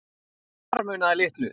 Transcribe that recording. Þar munaði litlu.